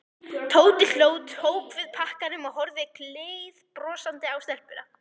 Tóti hló, tók við pakkanum og horfði gleiðbrosandi á stelpuna.